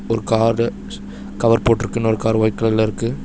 ஒரு car cover போட்ருக்கு இன்னொரு கார் ஒயிட் கலர்ல இருக்கு.